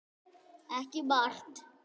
Ekki margt.